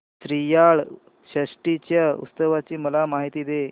श्रीयाळ षष्टी च्या उत्सवाची मला माहिती दे